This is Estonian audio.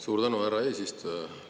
Suur tänu, härra eesistuja!